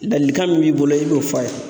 Ladilikan min b'i bolo i b'o f'a ye.